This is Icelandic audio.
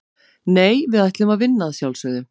Nei, við ætlum að vinna að sjálfsögðu.